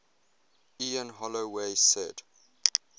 ian holloway said